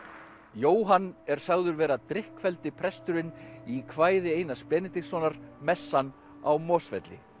Jóhann er sagður vera presturinn í kvæði Einars Benediktssonar messan á Mosfelli